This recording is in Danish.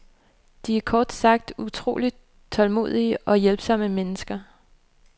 De er kort sagt utrolig tålmodige og hjælpsomme mennesker.